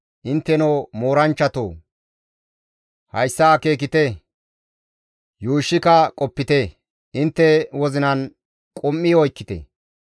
«Intteno mooranchchatoo! Hayssa akeekite; yuushshika qopite; intte wozinan qum7i oykkite.